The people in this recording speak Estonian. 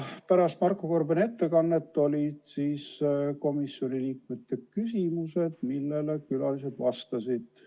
Pärast Marko Gorbani ülevaadet olid komisjoni liikmete küsimused, millele külalised vastasid.